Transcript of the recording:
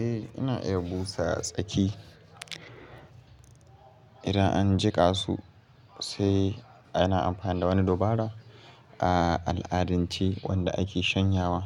Eh, ina iya busa tsaki idan an jika su, sai ana amfani da wani dubara a al'adance wanda ake shanyawa.